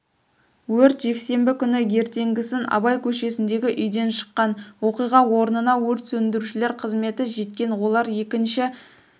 өрт жексенбі күні ертеңгісін абай көшесіндегі үйден шыққан оқиға орнына өрт сөндірушілер қызметі жеткен олар екінші